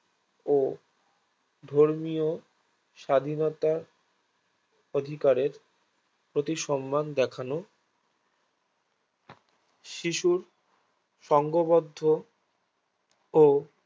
ও ধর্মীয় স্বাধীনতার অধিকারের প্রতি সম্মান দেখানো শিশুর সংঘবদ্ধ ও